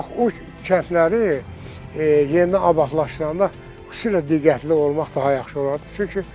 Bax o kəndləri yenidən abadlaşdıranda xüsusilə diqqətli olmaq daha yaxşı olardı.